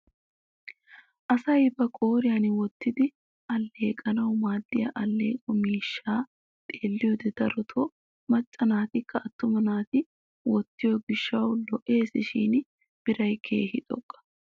Asay ba qooriyaan wottidi alleeqanau maaddiyaa alleeqo miishshaa xeelliyoode darotoo macca naatikka attuma naati wottiyoo giishshawu lo"eesishin biray keehi xoqqa!